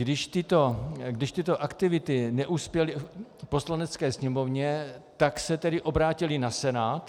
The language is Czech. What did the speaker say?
Když tyto aktivity neuspěly v Poslanecké sněmovně, tak se tedy obrátily na Senát.